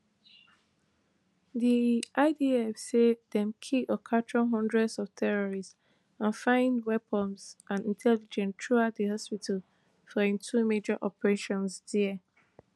di idf say dem kill or capture hundreds of terrorists and find weapons and intelligence throughout di hospital for im two major operations dia